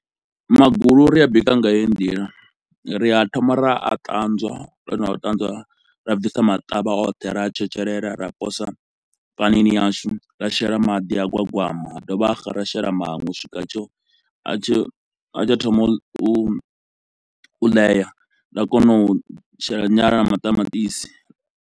Magulu ri a bika nga heyi ndila ri a thoma ra a ṱanzwa ro no a ṱanzwa, ra bvisa maṱavha oṱhe, ra a tshetshelela, ra posa panini yashu, ra shela maḓi a gwagwama a dovha xa ra shela maṅwe u swika a tsho yo a tshi yo a tshi yo a tshi yo thoma u u ḽeya nda kona u shela nyala na maṱamaṱisi.